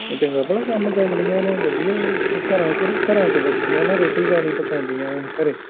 ਚੰਗਾ ਪਲਾ ਕੰਮ ਕਰਨ ਦੀਆਂ ਨੇ ਉਹ ਘਰਾਂ ਚ ਲੱਗਿਆ ਨਾ ਰੋਟੀ ਪਾਣੀ ਪਕੋਨਦੀਆਂ ਨੇ ਹਰੇ